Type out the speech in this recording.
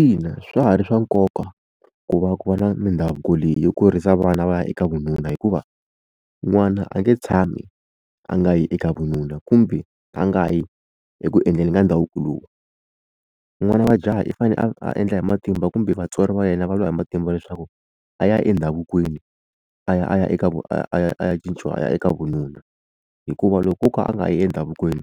Ina swa ha ri swa nkoka ku va ku va na mindhavuko leyi yo kurisa vana va ya eka vununa hikuva n'wana a nge tshami a nga yi eka vununa kumbe a nga yi eku endleni ka ndhavuko lowu n'wana wa jaha i fanele a endla hi matimba kumbe vatswari va yena va lwa hi matimba leswaku a ya endhavukweni a ya a ya eka a ya a ya cinciwa a ya eka vununa hikuva loko o ka a nga yi emidhavukweni